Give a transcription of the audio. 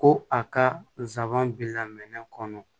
Ko a ka nsaban bila minɛ kɔnɔ